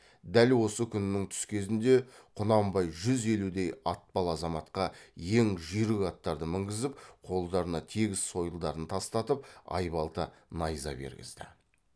дәл осы күннің түс кезінде құнанбай жүз елудей атпал азаматқа ең жүйрік аттарды мінгізіп қолдарына тегіс сойылдарын тастатып айбалта найза бергізді